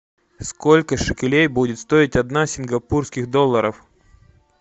сколько шекелей будет стоить одна сингапурских долларов